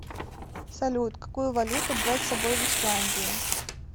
салют какую валюту брать с собой в исландию